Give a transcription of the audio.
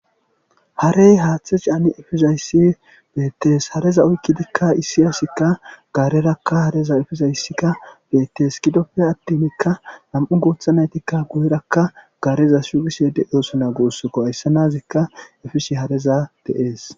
Harey haathe caani efizayssi beetees hareza uyki dikka isiyasika gaarerakka hareza efezayssika beetes kidopfe attinikka nam7u guthanaytikka gu7erakka gaareza shugishe de.oosonagosoko aysse nazika efishi hareza dees.